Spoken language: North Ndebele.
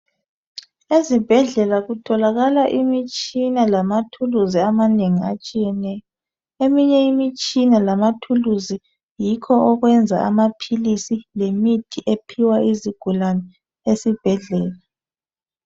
Ezibhedlela kutholakala imitshina lamathuluzi amanengi atshiyeneyo eminye imitshina lamathuluzi yikho okwenza amaphilisi lemithi ephiwa izigulane esibhedlela.